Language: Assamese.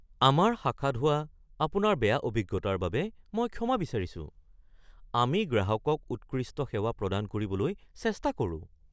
আমাৰ শাখাত হোৱা আপোনাৰ বেয়া অভিজ্ঞতাৰ বাবে মই ক্ষমা বিচাৰিছোঁ। আমি গ্ৰাহকক উৎকৃষ্ট সেৱা প্ৰদান কৰিবলৈ চেষ্টা কৰোঁ৷